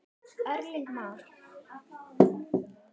Erling Már.